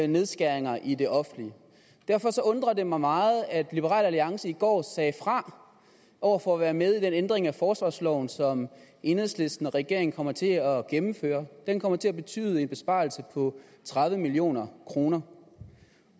nedskæringer i det offentlige derfor undrer det mig meget at liberal alliance i går sagde fra over for at være med i den ændring af forsvarsloven som enhedslisten og regeringen kommer til at gennemføre den kommer til at betyde en besparelse på tredive million kroner